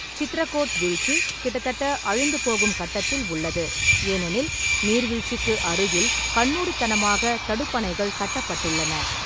சித்ரகோட் வீழ்ச்சி கிட்டத்தட்ட அழிந்துபோகும் கட்டத்தில் உள்ளது, ஏனெனில் நீர்வீழ்ச்சிக்கு அருகில் கண்மூடித்தனமாக தடுப்பணைகள் கட்டப்பட்டுள்ளன.